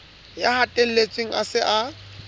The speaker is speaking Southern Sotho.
ya hatelletsweng a se a